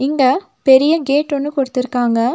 இங்க பெரிய கேட் ஒன்னு குடுத்து இருக்காங்க.